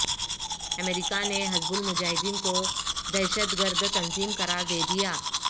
امریکہ نے حزب المجاہدین کو دہشت گرد تنظیم قرار دے دیا